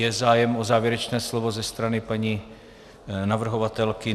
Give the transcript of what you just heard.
Je zájem o závěrečné slovo ze strany paní navrhovatelky?